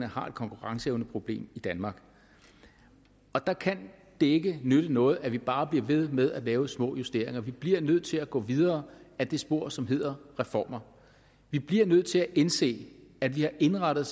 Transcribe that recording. har et konkurrenceevneproblem i danmark og der kan det ikke nytte noget at vi bare bliver ved med at lave små justeringer vi bliver nødt til at gå videre ad det spor som hedder reformer vi bliver nødt til at indse at vi har indrettet